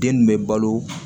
Den nin bɛ balo